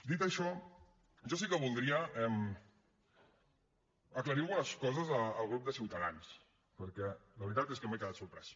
dit això jo sí que voldria aclarir algunes coses al grup de ciutadans perquè la veritat és que m’he quedat sorprès